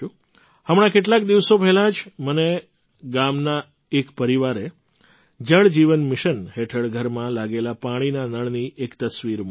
હમણાં કેટલાક દિવસો પહેલાં જ મને ગામના એક પરિવારે જલ જીવન મિશન હેઠળ ઘરમાં લાગેલા પાણીના નળની એક તસવીર મોકલી